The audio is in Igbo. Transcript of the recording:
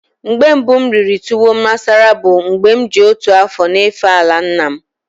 Mgbe mbu m riri tuwo masara bu mgbe m ji otu afo n'efe ala nna m.